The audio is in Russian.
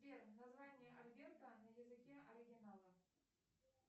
сбер название альберта на языке оригинала